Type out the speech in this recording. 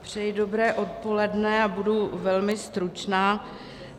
Přeji dobré odpoledne a budu velmi stručná.